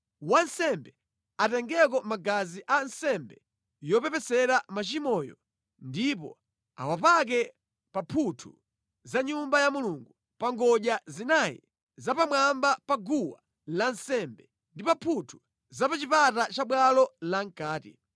Wansembe atengeko magazi a nsembe yopepesera machimoyo ndipo awapake pa mphuthu za Nyumba ya Mulungu, pa ngodya zinayi za pamwamba pa guwa lansembe ndi pa mphuthu za pa chipata cha bwalo la mʼkati.